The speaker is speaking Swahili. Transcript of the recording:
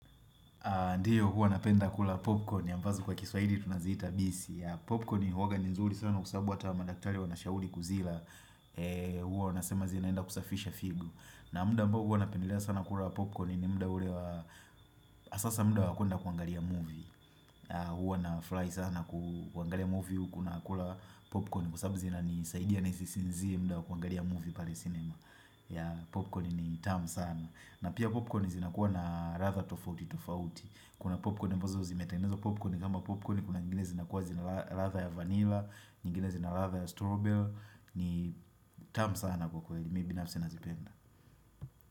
Ndiyo huwa napenda kula popcorn ambazo kwa kiswahili tunaziita bisi. Popcorn ni huwaga ni nzuri sana kwa sababu hata madaktari wanashauri kuzila Huwa wanasema zinaenda kusafisha figo. Na muda ambao huwa napendelea sana kula popcorn ni muda ule wa hasa muda wa kwenda kuangalia movie. Huwa nafurahi sana kuangalia movie huku nakula popcorn kwa sababu zinanisaidia nisisinzie muda wa kuangalia movie pale cinema ya popcorn ni tamu sana. Na pia popcorn zinakuwa na ladha tofauti tofauti. Kuna popcorn ambozo zimetengenezwa popcorn kama popcorn kuna nyingine zinakuwa zina ladha ya vanilla, nyingine zina ladha ya strawberry ni tamu sana kwa kweli, mi binafsi nazipenda.